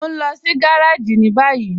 Mọ̀ n lọ sí gàràjì ni bayí